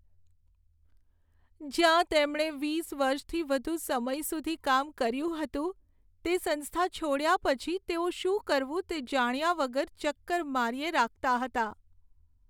જ્યાં તેમણે વીસ વર્ષથી વધુ સમય સુધી કામ કર્યું હતું તે સંસ્થા છોડ્યા પછી, તેઓ શું કરવું તે જાણ્યા વગર ચક્કર માર્યે રાખતા હતા.